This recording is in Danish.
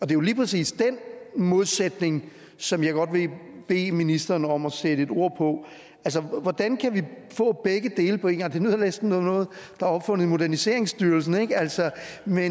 det er lige præcis den modsætning som jeg godt vil bede ministeren om at sætte ord på altså hvordan kan vi få begge dele på en gang det lyder næsten som noget der er opfundet i moderniseringsstyrelsen men altså